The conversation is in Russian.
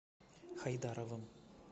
хайдаровым